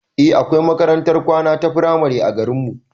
Eh akwai makarantar kwana ta firamare a garinmu